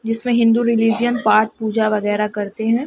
जिसमें हिन्दू रिलीजन पाठ पूजा वगैरा करते हैं।